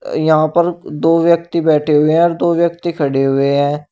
यहां पर दो व्यक्ति बैठे हुए हैं और दो व्यक्ति खड़े हुए हैं।